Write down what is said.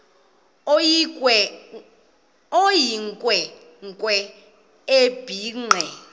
eyinkwe nkwe ebhinqe